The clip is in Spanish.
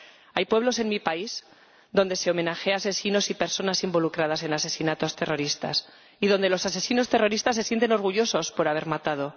Hay pueblos en mi país donde se homenajea a asesinos y personas involucradas en asesinatos terroristas y donde los asesinos terroristas se sienten orgullosos por haber matado.